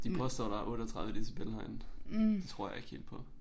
De påstår der 38 decibel herinde. Det tror jeg ikke helt på